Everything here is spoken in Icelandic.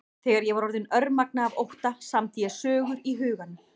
Þegar ég var orðin örmagna af ótta samdi ég sögur í huganum.